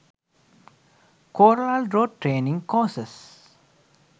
corel draw trainig course